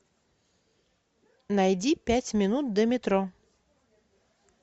найди пять минут до метро